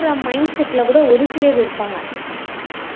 அப்படி mindset ல கூட ஒரு சிலர் இருப்பாங்க